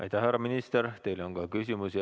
Aitäh, härra minister, teile on ka küsimusi.